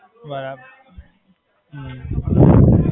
બરાબર.